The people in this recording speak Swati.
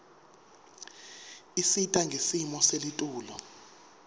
isita ngesimo selitulu